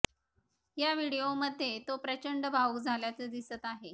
या व्हिडिओमध्ये तो प्रचंड भावूक झाल्याचं दिसत आहे